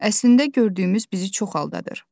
Əslində gördüyümüz bizi çox aldadır.